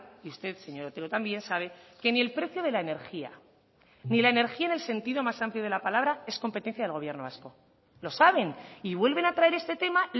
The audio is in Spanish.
y usted señor otero también sabe que ni el precio de la energía ni la energía en el sentido más amplio de la palabra es competencia del gobierno vasco lo saben y vuelven a traer este tema